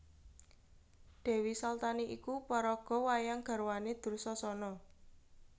Dèwi Saltani iku paraga wayang garwané Dursasana